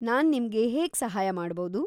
ನಾನ್‌ ನಿಮ್ಗೆ ಹೇಗ್ ಸಹಾಯ ಮಾಡ್ಬೌದು?